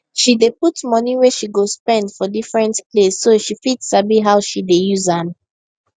she dey put money wey she go spend for different place so she fit sabi how she dey use am